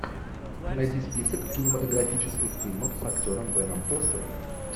найди список кинематографических фильмов с актером беном фостером